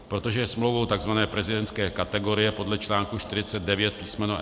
Protože je smlouvou tzv. prezidentské kategorie podle článku 49 písm.